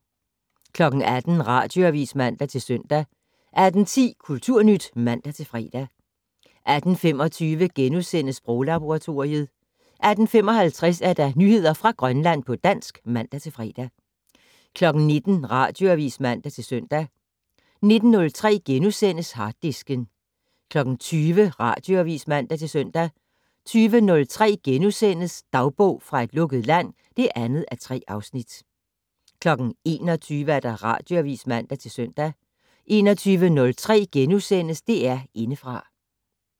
18:00: Radioavis (man-søn) 18:10: Kulturnyt (man-fre) 18:25: Sproglaboratoriet * 18:55: Nyheder fra Grønland på dansk (man-fre) 19:00: Radioavis (man-søn) 19:03: Harddisken * 20:00: Radioavis (man-søn) 20:03: Dagbog fra et lukket land (2:3)* 21:00: Radioavis (man-søn) 21:03: DR Indefra *